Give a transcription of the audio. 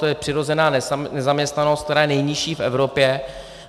To je přirozená nezaměstnanost, která je nejnižší v Evropě.